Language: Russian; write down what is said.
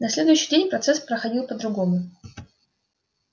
на следующий день процесс проходил по-другому